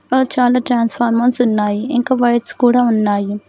చాలా ట్రాన్స్ఫార్మర్స్ ఉన్నాయి ఇంకా బైక్స్ కూడా ఉన్నాయి.